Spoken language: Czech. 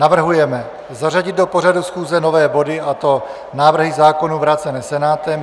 Navrhujeme zařadit do pořadu schůze nové body, a to návrhy zákonů vrácené Senátem.